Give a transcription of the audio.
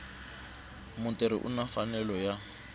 mutirhi u na mfanelo ya